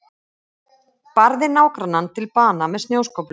Barði nágrannann til bana með snjóskóflu